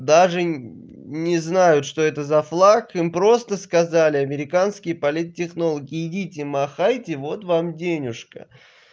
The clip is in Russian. даже не знаю что это за флаг им просто сказали американские политтехнологи идите махайте вот вам денежка